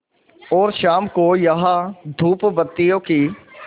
और शाम को यहाँ धूपबत्तियों की